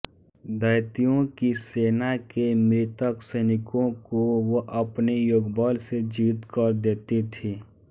दैत्यों की सेना के मृतक सैनिकों को वह अपने योगबल से जीवित कर देती थी